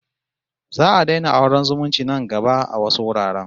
Za'a daina auren zumunci nan gaba a wasu wuraren